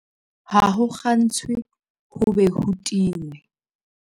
Ha ho kgantshwe ho be ho tingwe.